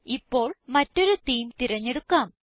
ഇപ്പോൾ മറ്റൊരു തേമെ തിരഞ്ഞെടുക്കാം